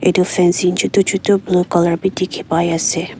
etu fencing chutu chutu blue colour bi dikhi pai ase.